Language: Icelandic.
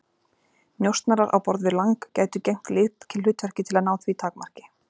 Njósnarar á borð við Lang gætu gegnt lykilhlutverki til að ná því takmarki.